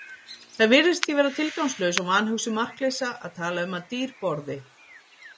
Það virðist því vera tilgangslaus og vanhugsuð markleysa að tala um að dýr borði.